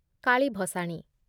Kali ଭସାଣୀ